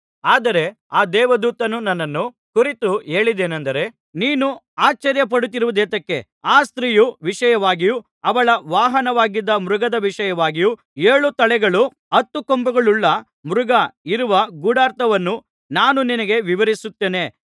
ಆದರೆ ಆ ದೇವದೂತನು ನನ್ನನ್ನು ಕುರಿತು ಹೇಳಿದ್ದೇನಂದರೆ ನೀನು ಆಶ್ಚರ್ಯ ಪಡುತ್ತಿರುವುದೇತಕ್ಕೆ ಆ ಸ್ತ್ರೀಯ ವಿಷಯವಾಗಿಯೂ ಅವಳ ವಾಹನವಾಗಿದ್ದ ಮೃಗದ ವಿಷಯವಾಗಿಯೂ ಏಳು ತಲೆಗಳೂ ಹತ್ತು ಕೊಂಬುಗಳುಳ್ಳ ಮೃಗ ಇರುವ ಗೂಢಾರ್ಥವನ್ನು ನಾನು ನಿನಗೆ ವಿವರಿಸುತ್ತೇನೆ